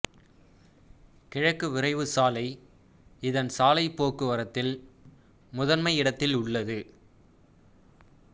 கிழக்கு விரைவுச் சாலை இதன் சாலைப் போக்குவரத்தில் முதன்மை இடத்தில் உள்ளது